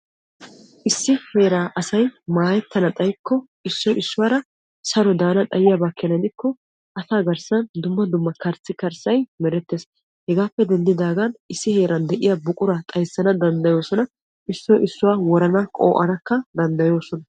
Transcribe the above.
Issi heeraa asay maayettana xaayiyaaba gidikko issoy issuwaara saro daana xaayiyaaba keena gidikko asaa garssan dumma dumma karissikarssay merettees. hegaappe denddidagan issi heeran de'iyaa buquraa xayissana danddayoosona. issoy issuwaa worana woranakka danddayoosona.